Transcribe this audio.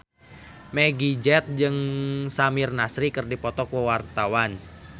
Meggie Z jeung Samir Nasri keur dipoto ku wartawan